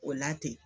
O la ten